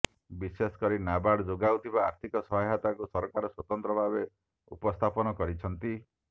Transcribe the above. ବିଶେଷ କରି ନାବାର୍ଡ ଯୋଗାଉଥିବା ଆର୍ଥିକ ସହାୟତାକୁ ସରକାର ସ୍ବତନ୍ତ୍ର ଭାବେ ଉପସ୍ଥାପନ କରିଛନ୍ତି